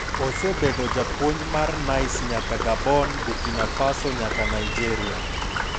Osebedo japuonj mar Nice nyaka Gabon, Burkina Faso nyaka Nigeria.